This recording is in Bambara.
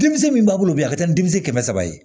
Denmisɛn min b'a bolo bi a ka ca ni denmisɛn ye